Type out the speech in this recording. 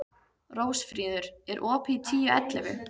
Rósfríður, er opið í Tíu ellefu?